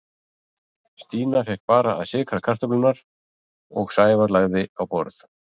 Stína fékk bara að sykra kartöflurnar og Sævar lagði á borð.